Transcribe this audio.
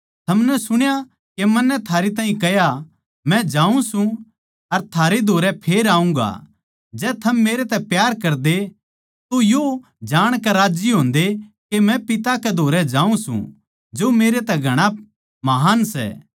थमनै सुण्या के मन्नै थारै ताहीं के कह्या मै जाऊँ सूं अर थारै धोरै फेर आऊँगा जै थम मेरै तै प्यार करदे तो यो जाणकै राज्जी होंदे के मै पिता कै धोरै जाऊँ सूं जो मेरै तै घणा महान् सै